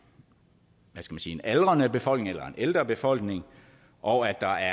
sige aldrende befolkning eller ældre befolkning og at der